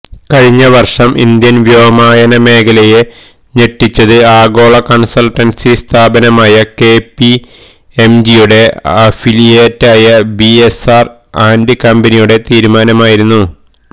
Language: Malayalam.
കഴിഞ്ഞ വര്ഷം ഇന്ത്യന് വ്യോമയാന മേഖലയെ ഞെട്ടിച്ചത് ആഗോള കണ്സള്ട്ടന്സി സ്ഥാപനമായ കെപിഎംജിയുടെ അഫിലിയേറ്റായ ബിഎസ്ആര് ആന്ഡ് കമ്പനിയുടെ തിരുമാനമായിരുന്നു